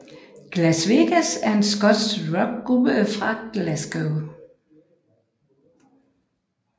Glasvegas er en skotsk rockgruppe fra Glasgow